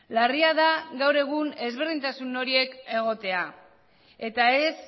larria da gaur egun ezberdintasun horiek egotea eta ez